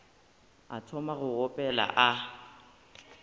a thoma go opela a